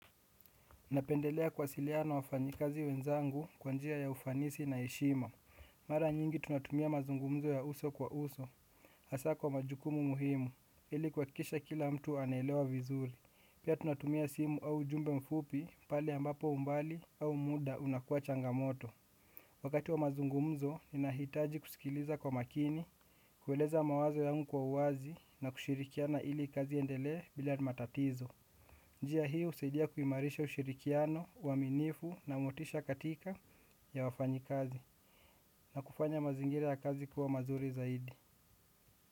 Napendelea kuwasiliana na wafanyikazi wenzangu kwa njia ya ufanisi na heshima. Mara nyingi tunatumia mazungumzo ya uso kwa uso. Hasa kwa majukumu muhimu ili kuhakikisha kila mtu anaelewa vizuri pia tunatumia simu au ujumbe mfupi pale ambapo umbali au muda unakua changamoto. Wakati wa mazungumzo ninahitaji kusikiliza kwa makini. Kueleza mawazo yangu kwa uwazi na kushirikiana ili kazi iendelee bila matatizo njia hii husaidia kuimarisha ushirikiano uaminifu na motisha katika ya wafanyakazi na kufanya mazingira ya kazi kuwa bora zaidi.